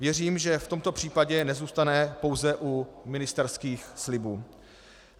Věřím, že v tomto případě nezůstane pouze u ministerských slibů.